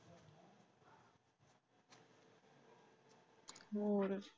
ਹੋਰ,